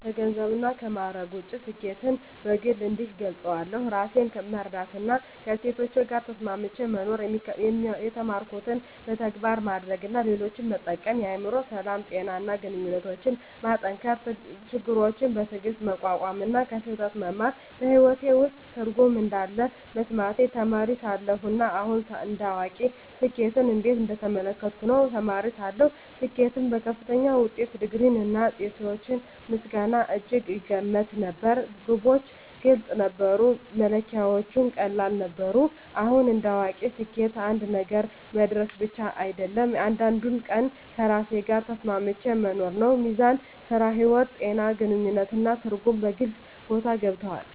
ከገንዘብና ከማዕረግ ውጭ፣ ስኬትን በግል እንዲህ እገልጻለሁ፦ ራሴን መረዳትና ከእሴቶቼ ጋር ተስማምቼ መኖር የተማርኩትን በተግባር ማድረግ እና ሌሎችን መጠቀም የአእምሮ ሰላም፣ ጤና እና ግንኙነቶችን መጠንከር ችግሮችን በትዕግስት መቋቋም እና ከስህተት መማር በሕይወቴ ውስጥ ትርጉም እንዳለ መሰማቴ ተማሪ ሳለሁ እና አሁን እንደ አዋቂ ስኬትን እንዴት እየተመለከትኩ ነው? ተማሪ ሳለሁ ስኬትን በከፍተኛ ውጤት፣ ዲግሪ፣ እና የሰዎች ምስጋና እጅግ እገመት ነበር። ግቦች ግልጽ ነበሩ፣ መለኪያዎቹም ቀላል ነበሩ። አሁን እንደ አዋቂ ስኬት አንድ ነገር መድረስ ብቻ አይደለም፤ እያንዳንዱን ቀን ከራሴ ጋር ተስማምቼ መኖር ነው። ሚዛን (ሥራ–ሕይወት)፣ ጤና፣ ግንኙነት እና ትርጉም በግልጽ ቦታ ገብተዋል።